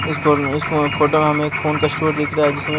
इस फोन में इस फोटो हमें एक फोन का स्टोर दिख रहा है जिसमें --